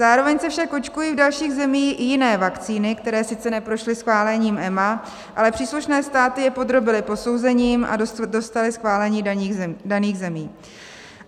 Zároveň se však očkují v dalších zemích i jiné vakcíny, které sice neprošly schválením EMA, ale příslušné státy je podrobily posouzením a dostaly schválení daných zemí.